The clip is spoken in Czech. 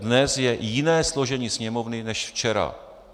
Dnes je jiné složení Sněmovny než včera.